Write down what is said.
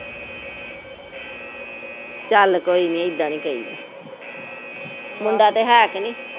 ਚੱਲ ਕੋਈ ਨੀ, ਏਦਾ ਨੀ ਕਹਿ ਦਾ, ਮੁੰਡਾ ਤਾ ਹੈ ਕਿ ਨੀ